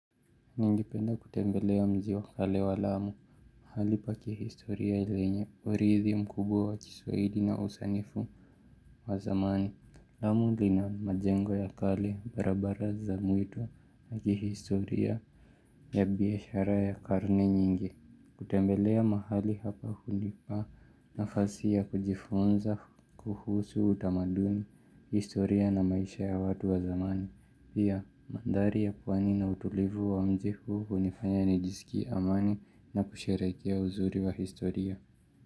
Ningependa kutembelea mji wa kale wa lamu, mahali pa kihistoria lenye, uridhi mkubwa wa kiswahili na usanifu wa zamani. Lamu lina majengo ya kale, barabara za mwitu na kihistoria ya biashara ya karne nyingi. Kutembelea mahali hapa hunipa nafasi ya kujifunza, kuhusu utamadumi, historia na maisha ya watu wa zamani. Pia, mandhari ya pwani ina utulivu wa mji huu hunifanya nijisikie amani na kusherehekea uzuri wa historia.